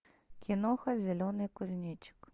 киноха зеленый кузнечик